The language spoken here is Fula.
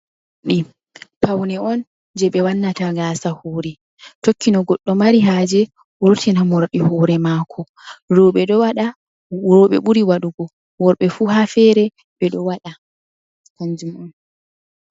Ɗi pawne on je ɓe wannata gasa hore tokkino goɗɗo mari haje, wurtina morɗi hore mako, roɓe ɓuri wa ɗugo worɓe fu, ha fere ɓe ɗo waɗa.